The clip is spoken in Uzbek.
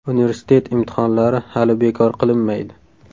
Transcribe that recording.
Universitet imtihonlari hali bekor qilinmaydi.